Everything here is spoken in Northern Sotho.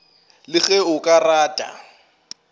le ge o ka rata